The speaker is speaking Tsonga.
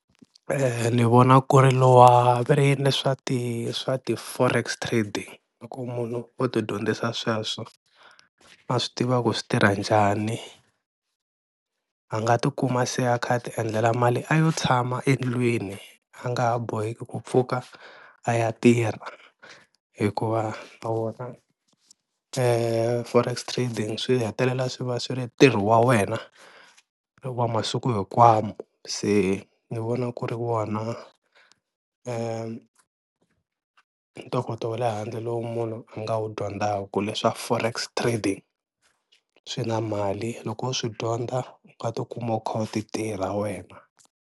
Ni vona ku ri lowa veri yini leswa ti swa ti-Forex Trade, loko munhu o ti dyondzisa sweswo a swi tiva ku swi tirha njhani a nga tikuma se a kha a ti endlela mali a yo tshama endlwini a nga ha boheki ku pfuka a ya tirha hikuva a wona Forex Trading swi hetelela swi va swi ri ntirho wa wena wa masiku hinkwawo, se ni vona ku ri wona ntokoto wa le handle lowu munhu a nga wu dyondzaka leswa Forex Trading swi na mali loko wo swi dyondza u nga tikuma u kha u ti tirha wena.